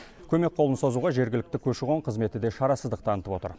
көмек қолын созуға жергілікті көші қон қызметі де шарасыздық танытып отыр